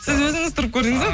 сіз өзіңіз тұрып көрдіңіз